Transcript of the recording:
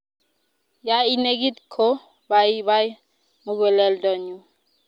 ya I negit ko pai pai muguleldo nyu